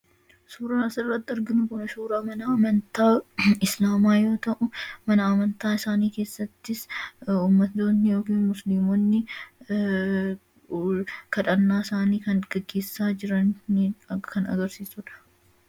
Suuraa asirratti arginu kun suuraa mana amantaa Islaamaa yoo ta'u, mana amantaa isaanii keessattis ummattoonni (Muslimoonni) kadhannaa isaanii kan geggeessaa jirani kan agarsiisudha.